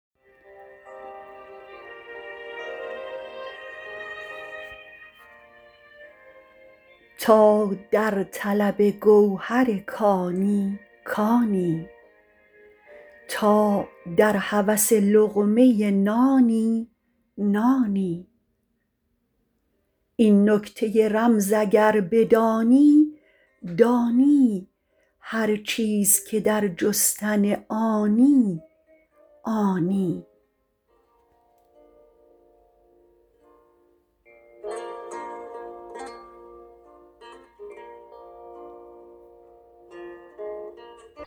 تا در طلب گوهر کانی کانی تا در هوس لقمه نانی نانی این نکته رمز اگر بدانی دانی هر چیز که در جستن آنی آنی